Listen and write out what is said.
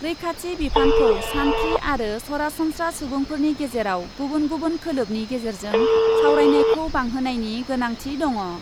रैखाथि बिफानखौ सान्थ्रि आरो सरासनस्रा सुबुंफोरनि गेजेराव गुबुन गुबुन खोलोबनि गेजेरजों सावरायनायखौ बांहोनायनि गोनांथि दङ ।